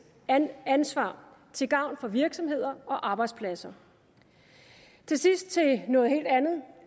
ansvar til gavn for virksomheder og arbejdspladser til sidst til noget helt andet